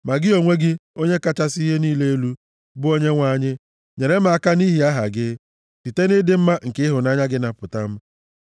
Ma gị onwe gị, Onye kachasị ihe niile elu, bụ Onyenwe anyị nyere m aka nʼihi aha gị, site nʼịdị mma nke ịhụnanya gị, napụta m.